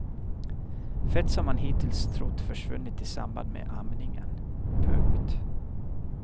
Fett som man hittills trott försvunnit i samband med amningen. punkt